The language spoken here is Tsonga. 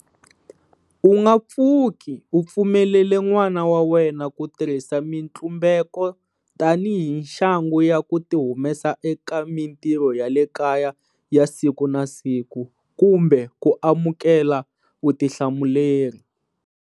U nga pfuki u pfumelele n'wana wa wena ku tirhisa mitlumbeko tanihi nxangu ya ku tihumesa eka mitirho ya le kaya ya siku na siku kumbe ku amukela vutihlamuleri.